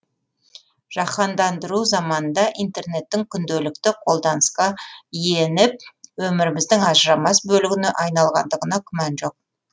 жаһандандыру заманында интернеттің күнделікті қолданысқа иеніп өміріміздің ажырамас бөлігіне айналғандығына күмән жоқ